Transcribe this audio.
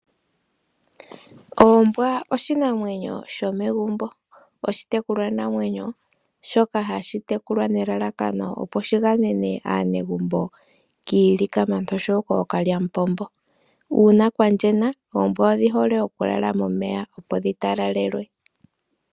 Oombwa oshinamwenyo shomegumbo. Oshitekulwanamwenyo shoka hashi tekulwa nelalakano, opo shi gamene aanegumbo kiilikama noshowo kookalyamupombo. Uuna kwa pupyala oombwa odhi hole okulala momeya, opo dhi talalelwe.